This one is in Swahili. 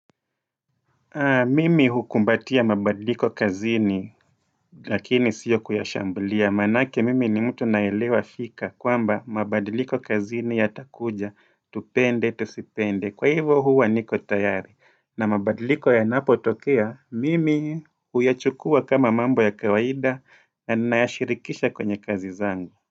Mimi hukumbatia mabadliko kazini lakini sio kuyashambulia. Maanake mimi ni mtu naelewa fika kwamba mabadliko kazini yatakuja. Tupende, tusipende. Kwa hivo huwa niko tayari. Na mabadliko yanapotokea, mimi huyachukua kama mambo ya kawaida na nayashirikisha kwenye kazi zangu.